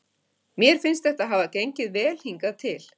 Mér finnst þetta hafa gengið vel hingað til.